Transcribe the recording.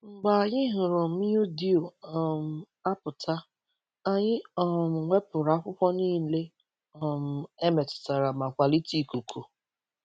Mgbe anyị hụrụ mildew um apụta, anyị um wepụrụ akwụkwọ niile um emetụtara ma kwalite ikuku.